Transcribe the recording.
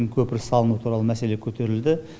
көпір салыну туралы мәселе көтерілді